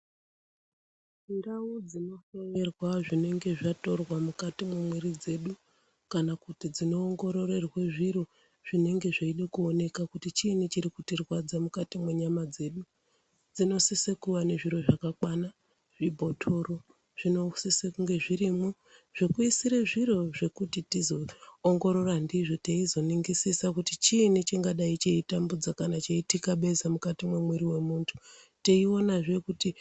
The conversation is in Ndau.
Ndau dzinohloyerwa zvinonga zvatorwa mukati memiri dzedu kana kuti dzinoongorerwe zviro zvinenge zvinonge zveide kuoneka kuti chiinyi chiri kutirwadza mukati mwenyama dzedu dzinosise kuva nezviro zvakakwana zvibhotoro zvinosise kunge zvirimo zvekuisire zviro zvekuti tizoongorora ndizvo teizoningisisa kuti chiinyi chingadai cheitambudza kana cheitikabeza mukati mwemwiri wemuntu teionazve kuti...